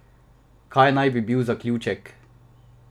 Kaj naj bi bil zaključek?